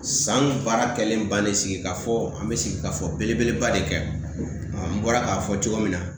San baara kɛlen bannen sigi ka fɔ an bɛ sigi ka fɔ belebeleba de kɛ n bɔra k'a fɔ cogo min na